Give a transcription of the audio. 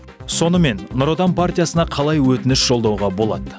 сонымен нұр отан партиясына қалай өтініш жолдауға болады